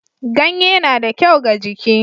Ganye na da kyau ga jiki.